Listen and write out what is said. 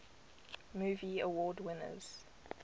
movie award winners